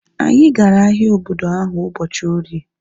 Anyi gara ahịa obodo ahu ụbọchị orie